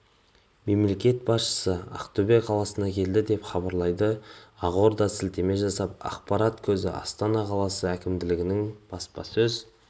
мемлекет басшысы ақтөбе қаласына келді деп хабарлайды ақордаға сілтеме жасап ақпарат көзі астана қаласы әкімдігінің баспасөз